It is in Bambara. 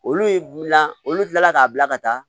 Olu ye na olu kilala k'a bila ka taa